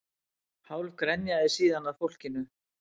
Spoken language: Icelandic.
Hálf grenjaði síðan að fólkinu